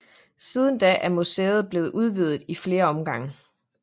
Siden da er museet blevet udvidet i flere omgange